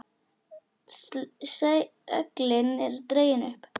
Seglin eru dregin upp.